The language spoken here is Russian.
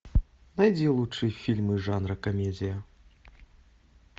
найди лучшие фильмы жанра комедия